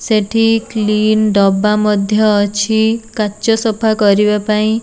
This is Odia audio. ସେଠି କ୍ଲିନ୍ ଡବା ମଧ୍ୟ ଅଛି କାଚ ସଫା କରିବା ପାଇଁ।